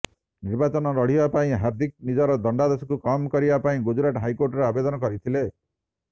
ନିର୍ବାଚନ ଲଢ଼ିବା ପାଇଁ ହାର୍ଦ୍ଦିକ ନିଜର ଦଣ୍ଡାଦେଶକୁ କମ୍ କରିବା ପାଇଁ ଗୁଜୁରାଟ ହାଇକୋର୍ଟରେ ଆବେଦନ କରିଥିଲେ